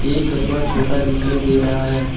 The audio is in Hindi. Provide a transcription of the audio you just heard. एक कछुआ छोटा दिखाई दे रहा है।